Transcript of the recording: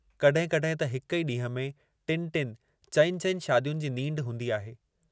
कॾहिं कॾहिं त हिक ई ॾींहं में टिनि टिनि, चइनि चनि शादियुनि जी नींढ हूंदी आहे।